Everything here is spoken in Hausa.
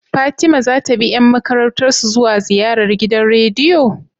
Fatima zata bi yan makarantar su zuwa ziyarar gidan rediyo?